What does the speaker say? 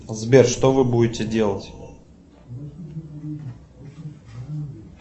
сбер что вы будете делать